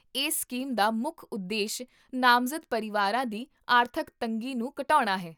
ਇਸ ਸਕੀਮ ਦਾ ਮੁੱਖ ਉਦੇਸ਼ ਨਾਮਜ਼ਦ ਪਰਿਵਾਰਾਂ ਦੀ ਆਰਥਿਕ ਤੰਗੀ ਨੂੰ ਘਟਾਉਣਾ ਹੈ